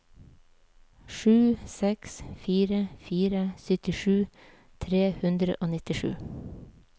sju seks fire fire syttisju tre hundre og nittisju